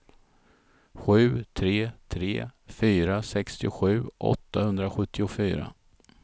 sju tre tre fyra sextiosju åttahundrasjuttiofyra